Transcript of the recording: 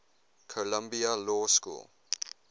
columbia law school